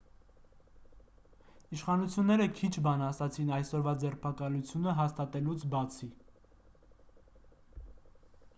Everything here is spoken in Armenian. իշխանությունները քիչ բան ասացին այսօրվա ձերբակալությունը հաստատելուց բացի